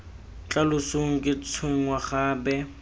tla losong ke tshwenngwa gape